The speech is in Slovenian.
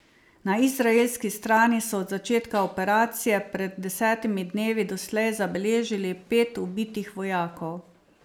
Na izraelski strani so od začetka operacije pred desetimi dnevi doslej zabeležili pet ubitih vojakov.